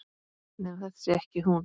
Nema þetta sé ekki hún.